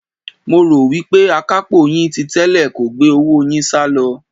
Mo rò wí pé akapo yín ti tẹ́lẹ̀ kò gbé owó yín salo.